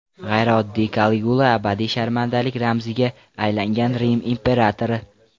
G‘ayrioddiy Kaligula abadiy sharmandalik ramziga aylangan Rim imperatori.